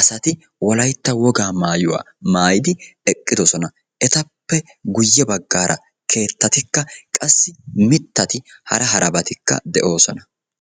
asati wolaytta wogaa maayuwaa maayidi eqqidosona. Etappe guye bagaara keettatikka qassi mitati hara harabatikka de'oosona .